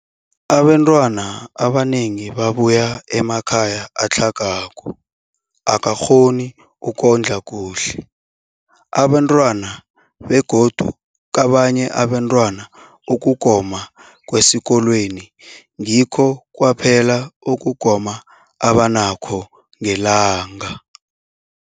Abantwana abanengi babuya emakhaya atlhagako angakghoni ukondla kuhle abentwana, begodu kabanye abafundi, ukugoma kwesikolweni ngikho kwaphela ukugoma abanakho ngelanga.